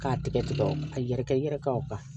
K'a tigɛ tigɛ ka yɛrɛkɛ i yɛrɛ ka o kan